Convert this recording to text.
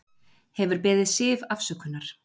Hefur beðið Siv afsökunar